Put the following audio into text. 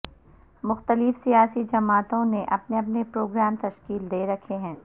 مختلف سیاسی جماعتوں نے اپنے اپنے پروگرام تشکیل دے رکھے ہیں